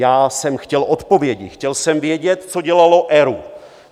Já jsem chtěl odpovědi, chtěl jsem vědět, co dělal ERÚ.